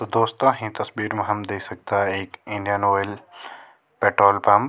तो दोस्तों हीं तस्वीर मा हम देख सकदा एक इंडियन आयल पेट्रोल पंप ।